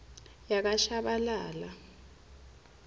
yakashabalala